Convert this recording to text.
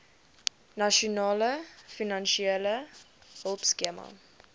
nasionale finansiële hulpskema